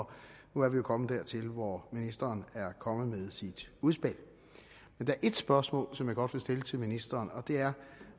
nu er vi jo kommet dertil hvor ministeren er kommet med sit udspil men der er et spørgsmål som jeg godt vil stille til ministeren og det er